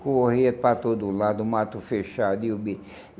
Corria para todo lado, o mato fechado e o bicho.